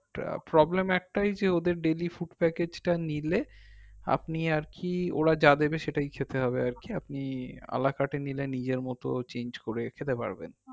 problem একটাই যে ওদের daily food package টা নিলে আপনি আর কি ওরা যা দেবে সেটাই খেতে হবে আর কি আপনি আলা কাটে নিলে নিজের মতো change করে খেতে পারবেন